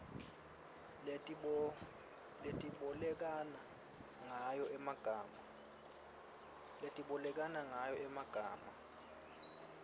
letibolekana ngayo emagama